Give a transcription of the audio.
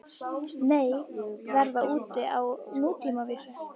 Nei, verða úti á nútímavísu